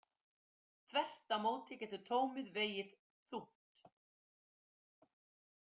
Þvert á móti getur tómið vegið þungt.